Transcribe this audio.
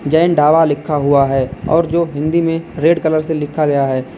जैन ढाबा लिखा हुआ है और जो हिंदी में रेड कलर से लिखा गया है।